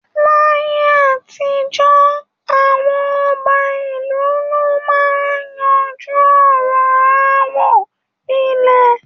Láyé àtijọ́, àwọn ọba ìlú ló máa ń yanjú ọ̀rọ̀ aáwọ̀ ilẹ̀